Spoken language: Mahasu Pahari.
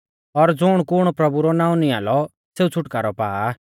और ज़ुण कुण प्रभु रौ नाऊं निंआ लौ सेऊ छ़ुटकारौ पा आ